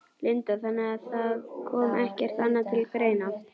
Linda: Þannig að það kom ekkert annað til greina?